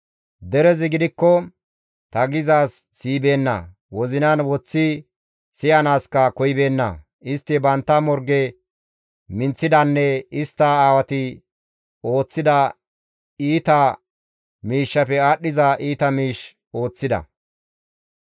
Derezi gidikko ta gizaaz siyibeenna; wozinan woththi siyanaaska koyibeenna; istti bantta morge minththidanne istta aawati ooththida iita miishshafe aadhdhiza iita miish ooththida.